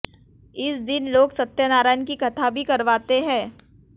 इस दिन लोग सत्यनारायण की कथा भी करवाते हैं